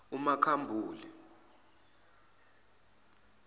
umakhambule